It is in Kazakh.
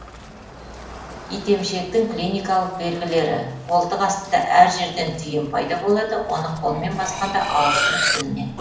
итемшектің клиникалық белгілері қолтық астында әр жерден түйін пайда болады оны қолмен басқанда ауырсынып білінеді